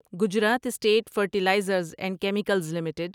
Gujarat state fertilizers and chemicals limited